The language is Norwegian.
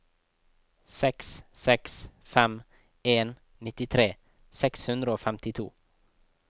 seks seks fem en nittitre seks hundre og femtito